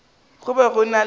go be go ena le